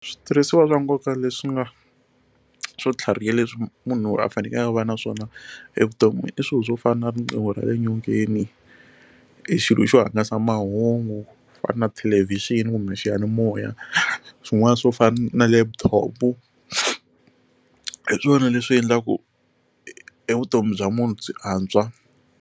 Switirhisiwa swa nkoka leswi nga swo tlhariha leswi munhu a fanekele a va na swona evuton'wini i swilo swo fana na riqingho ra le nyongeni i xilo xo hangalasa mahungu fana na thelevixini kumbe xiyanimoya swin'wana swo fana na laptop hi swona leswi endlaku e vutomi bya munhu byi antswa.